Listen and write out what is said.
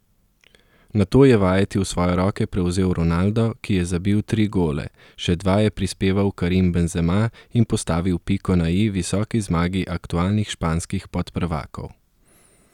Nato je vajeti v svoje roke prevzel Ronaldo, ki je zabil tri gole, še dva je prispeval Karim Benzema in postavil piko na i visoki zmagi aktualnih španskih podprvakov.